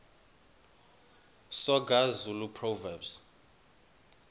soga zulu proverbs